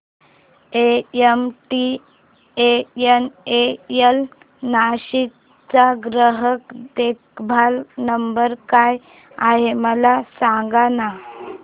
MTNL Nashik चा ग्राहक देखभाल नंबर काय आहे मला सांगाना